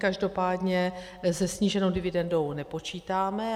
Každopádně se sníženou dividendou nepočítáme.